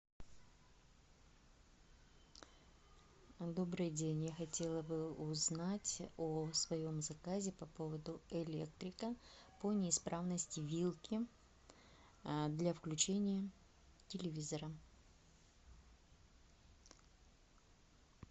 добрый день я хотела бы узнать о своем заказе по поводу электрика по неисправности вилки для включения телевизора